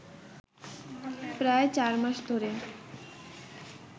প্রায় চার মাস ধরে